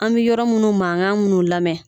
An be yɔrɔ munnu maŋan munnu lamɛ